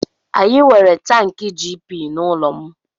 Anyị nwere tankị GP n'ụlọ m.